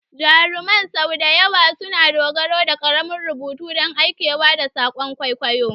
Jaruman sau da yawa suna dogara da ƙaramin rubutu don aikewa da saƙon kwaikwayo.